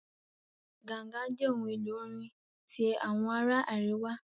Ganga jẹ ohun elo orin ti awọn ara ariwa.